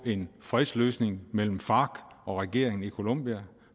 en fredsløsning mellem farc og regeringen i colombia